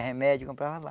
É, remédio eu comprava lá.